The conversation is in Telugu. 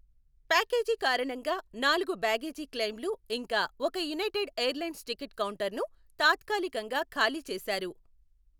ప్యాకేజీ కారణంగా, నాలుగు బ్యాగేజీ క్లెయిమ్లు ఇంకా ఒక యునైటెడ్ ఎయిర్లైన్స్ టికెట్ కౌంటర్ను తాత్కాలికంగా ఖాళీ చేసారు.